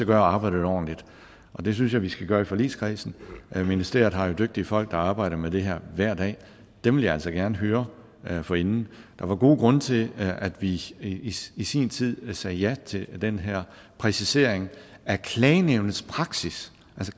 gøre arbejdet ordentligt og det synes jeg vi skal gøre i forligskredsen ministeriet har jo dygtige folk der arbejder med det her hver dag og dem vil jeg altså gerne høre høre forinden der var gode grunde til at vi i sin i sin tid sagde ja til den her præcisering af klagenævnets praksis